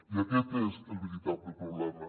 i aquest és el veritable problema